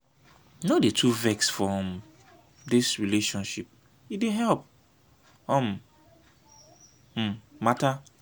no dey too vex for um dis relationship e dey help um mata.